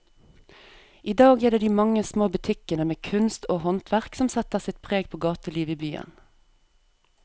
I dag er det de mange små butikkene med kunst og håndverk som setter sitt preg på gatelivet i byen.